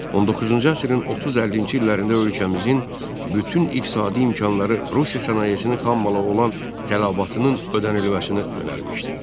19-cu əsrin 30-50-ci illərində ölkəmizin bütün iqtisadi imkanları Rusiya sənayesinin xammalı olan tələbatının ödənilməsinə yönəlmişdi.